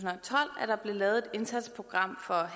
og tolv at der blev lavet et indsatsprogram for